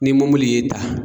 Ni mɔmili y'i ta